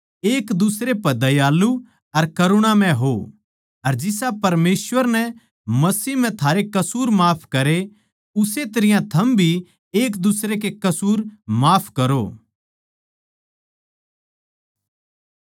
एक दुसरे पे दयालु अर करुणामय हो अर जिसा परमेसवर नै मसीह म्ह थारे कसूर माफ करे उस्से तरियां थम भी एक दुसरे के कसूर माफ करो